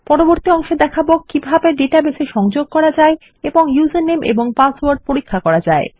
পরবর্তী অংশে দেখাবো কিভাবে ডেটাবেস এ সংযোগ করা যায় এবং উসের নামে এবং পাসওয়ার্ড পরীক্ষা করা যায়